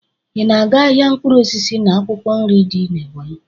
Ị na-aga ahịa mkpụrụ osisi na akwụkwọ nri dị n'Ebonyị?